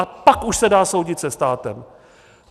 A pak už se dá soudit se státem.